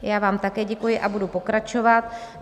Já vám také děkuji a budu pokračovat.